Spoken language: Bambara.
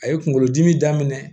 A ye kunkolodimi daminɛ